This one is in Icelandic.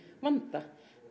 vanda